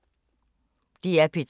DR P3